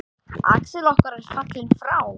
Axel okkar er fallinn frá.